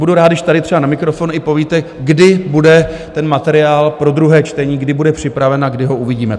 Budu rád, když tady třeba na mikrofon i povíte, kdy bude ten materiál pro druhé čtení, kdy bude připraven a kdy ho uvidíme.